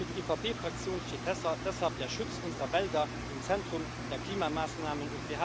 Für die EVP Fraktion steht deshalb der Schutz unserer Wälder im Zentrum der Klimamaßnahmen.